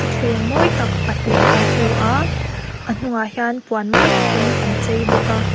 thleng mawi tak pahnih kan hmu a a hnungah hian puan mawi tak in an chei bawk a.